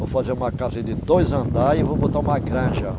Vou fazer uma casa de dois andar e vou botar uma granja.